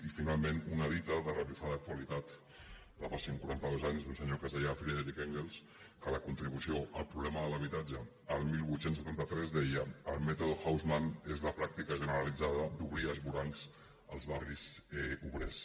i finalment una dita de revifada actualitat de fa cent quaranta dos anys d’un senyor friedrich engels que la contribució al problema de l’habitatge el divuit setanta tres deia el mètode haussmann és la pràctica generalitzada d’obrir esvorancs als barris obrers